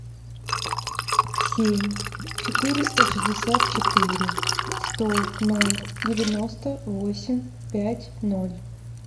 семь четыреста шестьдесят четыре сто ноль девяносто восемь пять ноль